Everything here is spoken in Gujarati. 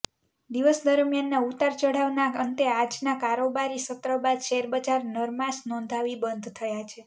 દિવસ દરમ્યાનના ઉતાર ચઢાવના અંતે આજના કારોબારી સત્ર બાદ શેરબજાર નરમાશ નોંધાવી બંધ થયા છે